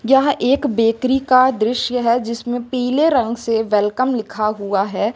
यह एक बेकरी का दृश्य है जिसमें पीले रंग से वेलकम लिखा हुआ है।